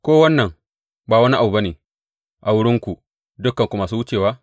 Ko wannan ba wani abu ba ne a wurinku, dukanku masu wucewa?